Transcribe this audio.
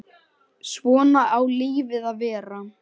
Svona á lífið að vera.